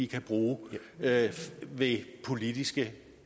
kan bruge ved politiske